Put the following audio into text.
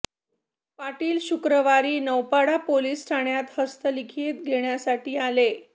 पाटील शुक्रवारी नौपाडा पोलिस ठाण्यात हस्तलिखित घेण्यासाठी आले